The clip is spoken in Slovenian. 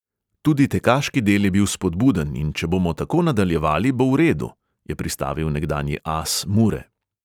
"Tudi tekaški del je bil spodbuden, in če bomo tako nadaljevali, bo v redu," je pristavil nekdanji as mure.